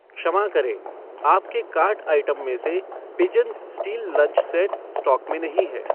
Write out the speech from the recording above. क्षमा करें, आपके कार्ट आइटम में से pigeon steel lunch set stock में नहीं है